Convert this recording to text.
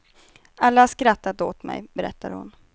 Alla har skrattat åt mig, berättar hon.